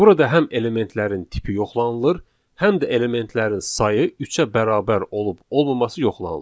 Burada həm elementlərin tipi yoxlanılır, həm də elementlərin sayı üçə bərabər olub-olmaması yoxlanılır.